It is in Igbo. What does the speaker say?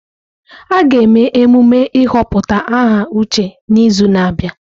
A ga-eme emume ịhọpụta aha Uche n'izu na-abịa.